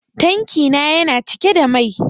Tanki na yana cike da mai.